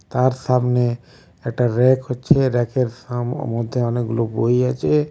তার সামনে একটা রেক হচ্ছে রেকের সাম-মধ্যে অনেকগুলো বই আছে.